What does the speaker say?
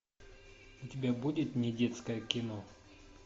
у тебя будет недетское кино